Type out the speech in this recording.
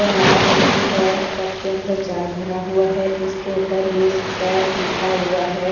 वह लाल रंग की है कप के अंदर चाय भरा हुआ है इसके उपर नेस्कैफ लिखा हुआ है।